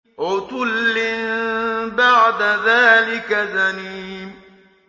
عُتُلٍّ بَعْدَ ذَٰلِكَ زَنِيمٍ